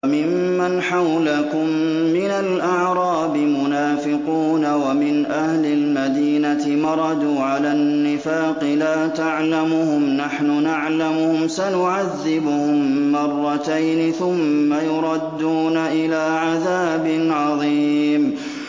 وَمِمَّنْ حَوْلَكُم مِّنَ الْأَعْرَابِ مُنَافِقُونَ ۖ وَمِنْ أَهْلِ الْمَدِينَةِ ۖ مَرَدُوا عَلَى النِّفَاقِ لَا تَعْلَمُهُمْ ۖ نَحْنُ نَعْلَمُهُمْ ۚ سَنُعَذِّبُهُم مَّرَّتَيْنِ ثُمَّ يُرَدُّونَ إِلَىٰ عَذَابٍ عَظِيمٍ